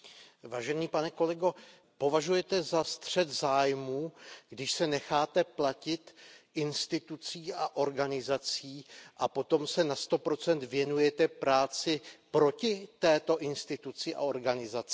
Vážený pane kolego, považujete za střet zájmů, když se necháte platit institucí a organizací a potom se na 100 věnujete práci proti této instituci a organizaci?